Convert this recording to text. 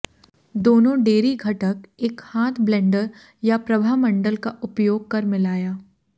दोनों डेयरी घटक एक हाथ ब्लेंडर या प्रभामंडल का उपयोग कर मिलाया